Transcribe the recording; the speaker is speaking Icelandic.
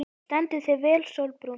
Þú stendur þig vel, Sólbrún!